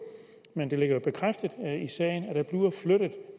men det bliver jo bekræftet